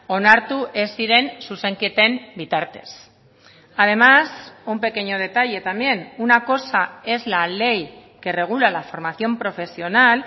onartu ez ziren zuzenketen bitartez además un pequeño detalle también una cosa es la ley que regula la formación profesional